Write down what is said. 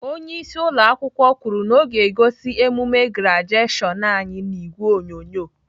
Onyeisi ụlọakwụkwọ kwuru na ọ ga-egosi emume grajeshion anyị n'ìgwè onyonyo.